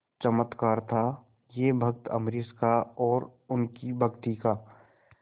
चमत्कार था यह भक्त अम्बरीश का और उनकी भक्ति का